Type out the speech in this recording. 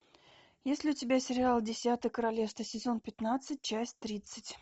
есть ли у тебя сериал десятое королевство сезон пятнадцать часть тридцать